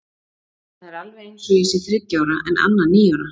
Það er alveg eins og ég sé þriggja ára en Anna níu ára.